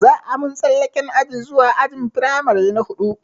Za a mun tsallaken aji zuwa ajin firamare na huɗu